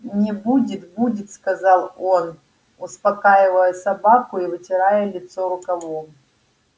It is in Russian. не будет будет сказал он успокаивая собаку и вытирая лицо рукавом